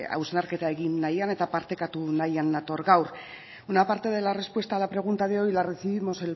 hausnarketa egin nahian eta partekatu nahian nator gaur una parte de la respuesta a la pregunta de hoy la recibimos